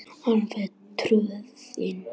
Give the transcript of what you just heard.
Alveg troðið.